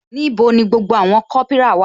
Níbo ni gbogbo àwọn kopira wà?